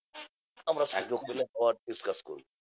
আমরা সুযোগ পেলে আবার discus করি।